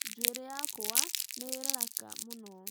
Njuĩrĩ yakwa nĩ ĩraraka mũno